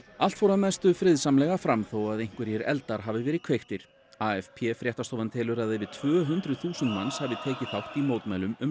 allt fór að mestu friðsamlega fram þó að einhverjir eldar hafi verið kveiktir AFP fréttastofan telur að yfir tvö hundruð þúsund manns hafi tekið þátt í mótmælum um